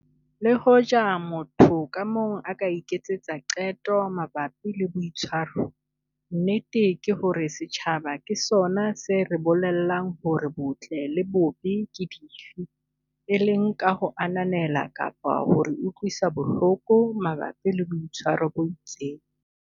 Le hoja motho ka mong a iketsetsa qeto mabapi le boitshwaro, nnete ke hore setjhaba ke sona se re bolellang hore botle le bobe ke dife, e leng ka ho ananela kapa ka ho re utlwisa bohloko mabapi le boitshwaro bo itseng.